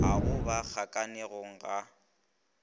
ga go ba kgakanegong ga